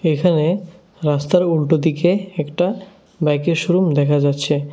এখানে রাস্তার উল্টোদিকে একটা বাইকের শোরুম দেখা যাচ্ছে।